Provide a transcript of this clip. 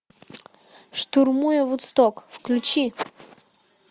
штурмуя вудсток включи